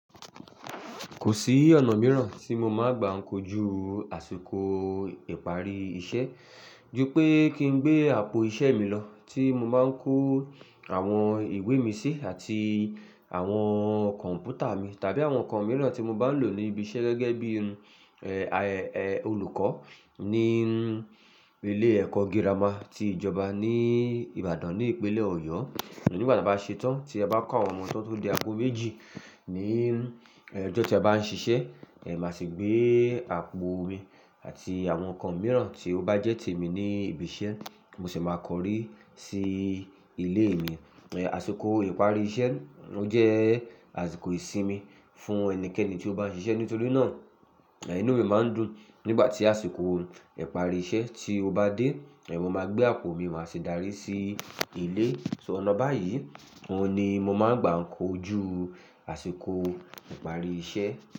Kò sí ọ̀nà mìíràn tí mo máa n gbà ń kojú àsìkò ìparí iṣẹ́, ju pé kí n gbé àpò iṣẹ́ mi lọ tí mo máa ń kó àwọn ìwé mi sí àti àwọn kọ̀m̀pútà mi tàbí àwọn nǹkan mìíràn tí mo bá ń lò ní ibi iṣẹ́ gẹ́gẹ́ bí, olùkọ́ ní ilé ẹ̀kọ́ gírámà ti ìjọba ní Ìbàdàn ní ìpínlẹ̀ Ọ̀yọ́. Ṣùgbọ́n nígbà tí a bá ṣe tán, tí e bá kọ́ àwọn ọmọ tán tó di àgò méjì ní, l, ọjọ́ tí a bá ń ṣiṣẹ́, ẹ, màá sì gbé àpò mi àti àwọn nǹkan mìíràn tí ó bá jẹ́ te mi ní ibi iṣẹ́, mo sì máa kọrí sí ilé mi. Ẹ, àsìkò ìparí iṣẹ́, ó jẹ́ àsìkò ìsinmi fún ẹnikẹ́ni tí ó bá ń ṣiṣẹ́. Nítorí náà, inú mi máa ń dùn nígbà tí àsìkò ìparí iṣẹ́ tí ó bá dé. Ẹ, mo máa gbé àpò mi, màá sì dárí sí ilé. So ọ̀nà báyìí, òhun ni mo máa ń gbà ń kojú àsìkò ìparí iṣẹ́